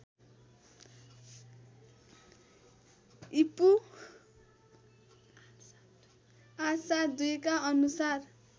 ईपू ८७२ का अनुसार